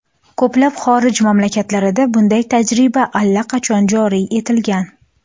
Ko‘plab xorij mamlakatlarida bunday tajriba allaqachon joriy etilgan.